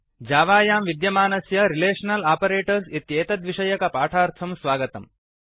जावायां विद्यमानस्य relational operators इत्येतद्विषयकपाठार्थं स्वागतम्